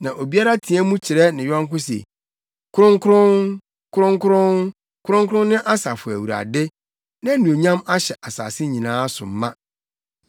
Na obiara teɛ mu kyerɛ ne yɔnko se, “Kronkron! Kronkron! Kronkron ne Asafo Awurade; Nʼanuonyam ahyɛ asase nyinaa so ma!”